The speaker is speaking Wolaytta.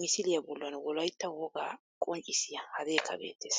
misiliya bollan wolaytta wogaa qonccissiya hadekka beettees.